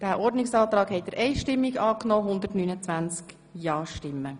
Abstimmung (Antrag SVP (Amstutz, Schanden-Sigriswil)